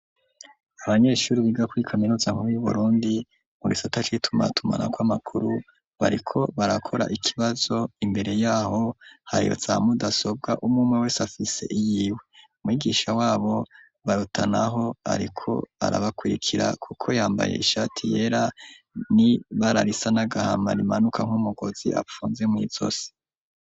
Abanyeshure biga kuri kaminuza nkuru yu burundi mu gisata c’itumatumanako kw'amakuru bariko barakora ikibazo imbere yaho hari za mudasobwa umwe umwe wese afise iyiwe ,mwigisha wabo barutanaho ariko arabakurikira kuko yambaye ishati yera ni bara risa n'agahama rimanuka nk'umugozi apfunze mw’izosi.